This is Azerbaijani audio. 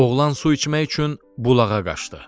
Oğlan su içmək üçün bulağa qaçdı.